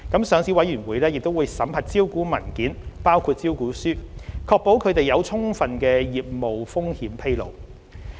上市委員會亦會審核招股文件，確保它們有充分的業務風險披露。